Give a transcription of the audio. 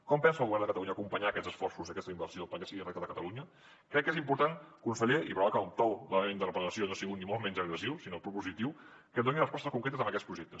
com pensa el govern de catalunya acompanyar aquests esforços aquesta inversió perquè sigui una realitat a catalunya crec que és important conseller i provarà que el to de la meva interpel·lació no ha sigut ni molt menys agressiu sinó propositiu que doni respostes concretes a aquests projectes